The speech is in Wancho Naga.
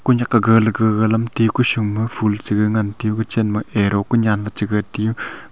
ku nyak aga le ga ga lamti ku shum ma ful che yoa ngan taiyo ku chan ma arrow ku nyan che ngan taiyo.